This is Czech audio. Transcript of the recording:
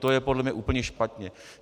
To je podle mě úplně špatně.